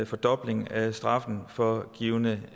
fordobling af straffen for en given